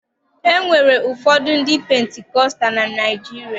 E nwere ụfọdụ ndị pentikọsta na Naịjirịa